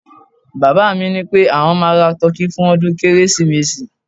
baba mi nipé àwọn ma ra tọki fún ọdún kérésìmesì